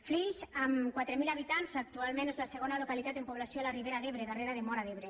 flix amb quatre mil habitants actualment és la segona localitat en població de la ribera d’ebre darrere de móra d’ebre